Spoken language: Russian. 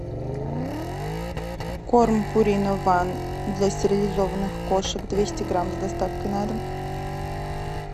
корм пурина ван для стерилизованных кошек двести грамм с доставкой на дом